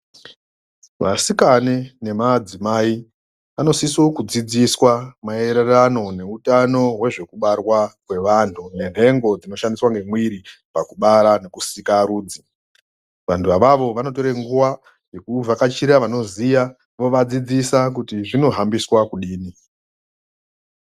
Vasikane nemadzimai vanosise kudzidziswa maererano neutano wezvekubarwa kwevantu nenhengo dzinoshandiswa ngemwiri pakubara nekusikarudzi vantu avavo vanotore nguwa yekuvhakachira vanoziya vovadzidzisa kuti zvinohambiswa kudini.